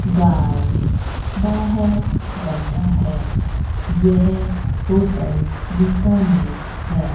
Guard बाहर बैठा है यह होटल बीकानेर है।